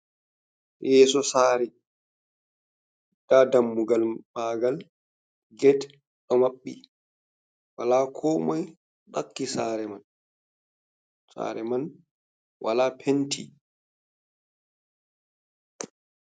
Yeeso sare nda dammugal maagal ged ɗo maɓɓi wala ko moi ɓakki sare man. Sare man wala penti.